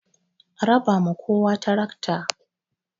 A raba ma kowa tarakta!